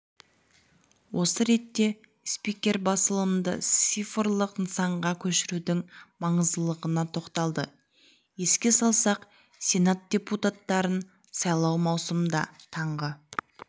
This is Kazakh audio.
осы ретте спикер басылымды цифрлық нысанға көшірудің маңыздылығына тоқталды еске салсақ сенат депутаттарын сайлау маусымда таңғы